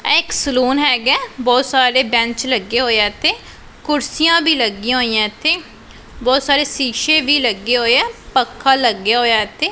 ਇਹ ਇੱਕ ਸਲੋਨ ਹੈਗਾ ਬਹੁਤ ਸਾਰੇ ਬੈਂਚ ਲੱਗੇ ਹੋਏ ਆ ਇੱਥੇ ਕੁਰਸੀਆਂ ਭੀ ਲੱਗੀਆਂ ਹੋਈਆਂ ਇੱਥੇ ਬਹੁਤ ਸਾਰੇ ਸ਼ੀਸ਼ੇ ਵੀ ਲੱਗੇ ਹੋਏ ਆ ਪੱਖਾ ਲੱਗਿਆ ਹੋਇਆ ਇੱਥੇ।